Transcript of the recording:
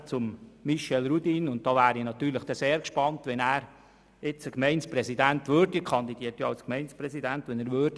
Er kandidiert ja als Gemeindepräsident und da wäre ich also sehr gespannt, wie er das den Lyssern erklären würde, wenn er tatsächlich Gemeindepräsident würde.